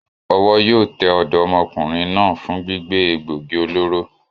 Owó yío te òdómokùnrin náà fun gbígbé égbogi olóró